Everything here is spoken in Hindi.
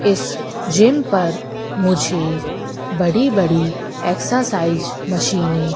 इस जिम पर मुझे बड़ी बड़ी एक्सरसाइज मशीने --